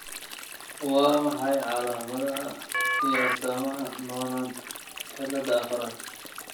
Waa maxay calaamadaha iyo astaamaha Noonan cillada afarad?